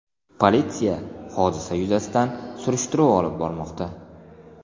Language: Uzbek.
Politsiya hodisa yuzasidan surishtiruv olib bormoqda.